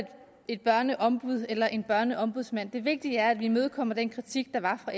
et børneombud eller en børneombudsmand det vigtige er at vi imødekommer den kritik der var fra